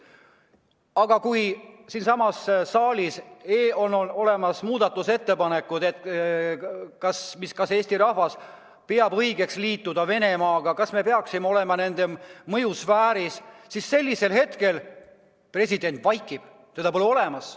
Aga kui siinsamas saalis on esitatud muudatusettepanek küsida, kas Eesti rahvas peab õigeks liituda Venemaaga, kas me peaksime olema nende mõjusfääris, siis president vaikib, teda pole olemas.